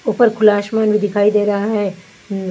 ऊपर खुला आसमान भी दिखाई दे रहा है।